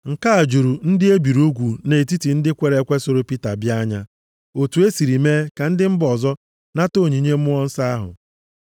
Nke a juru ndị e biri ugwu nʼetiti ndị kwere ekwe soro Pita bịa anya otu e siri mee ka ndị mba ọzọ nata onyinye Mmụọ Nsọ ahụ.